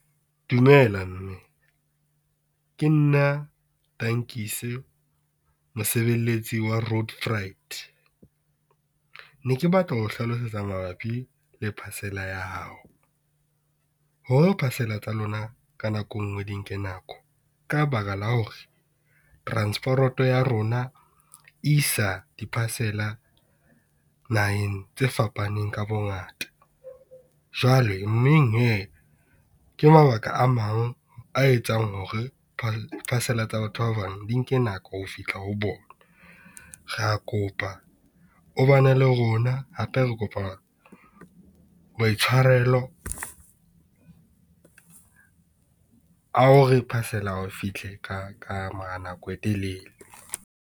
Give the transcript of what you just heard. Dumela mme ke nna Tankise mosebeletsi wa Road Freight. Ne ke batla ho hlalosetsa mabapi le parcel-a ya hao, hore parcel-a tsa lona ka nako engwe di nke nako ka baka la hore transporoto ya rona isa di parcel-a naheng tse fapaneng ka bongata. Jwale mmeng hee ke mabaka a mang a etsang hore parcel-a tsa batho ba bang di nke nako ho fihla ho bona. Re kopa o bana le rona, hape re kopa maitshwarelo, a hore parcel-a ya hao e fihle ka ka mora nako e telele.